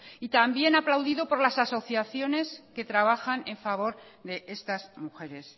y también aplaudido por las asociaciones que trabajan en favor de estas mujeres